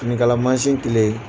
Finikala mansin kelen.